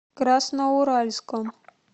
красноуральском